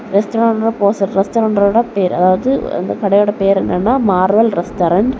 பேரு அதாவது அந்த கடையோட பேர் என்னன்னா மார்வெல் ரெஸ்டாரன்ட் .